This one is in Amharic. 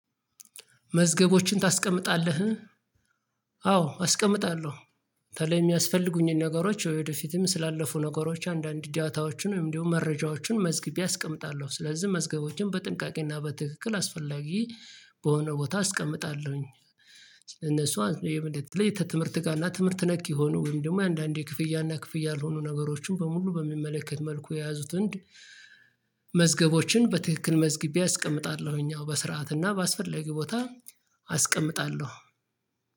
መዝገቦችን ታስቀምጣለህ? አዎ አስቀምጣለሁ ተለይ የሚያስፈልጉኝን ነገሮች ወደፊትም ስላለፉ ነገሮች አንዳንድ እዳታዎችን ወይም እንደው መረጃዎችን መዝግቢ አስቀምጣለሁ ስለዚህ መዝገቦችን በጥንቃቄና በትክክል አስፈላጊ በሆነ ቦታ አስቀምጣለሁኝ እነሱ ይሄ በደንብ ትምህርት ጋር እና ትምህርት ነክ የሆነው ወይም ደግሞ አንዳንዴ ክፍያና ክፍያ ያልሆኑ ነገሮችን በሙሉ በሚመለከት መልኩ የያዙትን መዝገቦችን በትክክል መዝግቤ አስቀምጣለሁ እኛው በስርዓት እና በአስፈላጊው ቦታ አስቀምጣለሁ